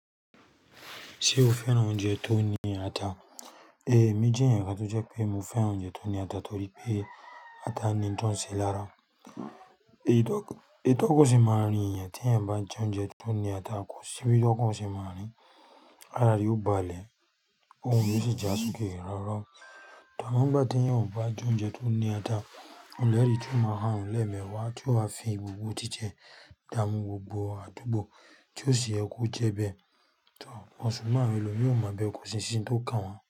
Ṣé o fẹ́ràn oúnjẹ tó ní ata? Mi jẹ ẹ̀èyàn kan tó jẹ́ pé mo fẹ́ràn oúnjẹ tó ní ata torí pé ata ní n tọ́nṣe lára. Èyí tọ́kù sì máa rín ẹ̀èyàn tí ẹ̀èyàn bá jẹ oúnjẹ tó ní ata kò sì bí okan ṣé máa rín. Ara yóò balẹ̀, k'óhùn mi sì já sókè ráúráú. Tọ̀ọ̀, àmọ́ ń'gbà téèyàn ò bá jẹ oúnjẹ tó ní ata, òun lẹ̀ ẹ́ ríi tí óò máa ha ohùn l'ẹ́ẹ̀mẹwàá tí ó wá fi ìgbùgbù tí tiẹ̀ dààmú gbogbo àdúgbò tí ò sì yẹ jẹ́ bẹ́ẹ̀. Tọ̀ọ̀, consumer àwọn ẹlòmíì, kò sì sí n tó kàn wọ́n.